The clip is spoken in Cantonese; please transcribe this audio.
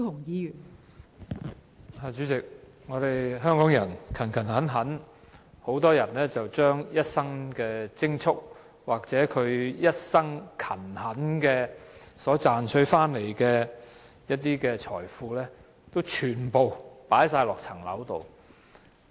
代理主席，香港人工作勤懇，很多人均將一生的積蓄或一生勤懇賺回來的財富，全部投放在物業上。